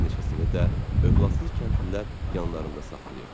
Bir neçəsini də övladsız kəndlilər yanlarında saxlayırdılar.